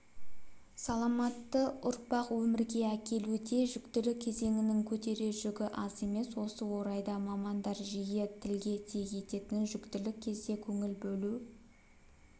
саламатты ұрпақ өмірге әкелуде жүктілік кезеңінің көтерер жүгі аз емес осы орайда мамандар жиі тілге тиек ететін жүктілік кезде көңіл бөлу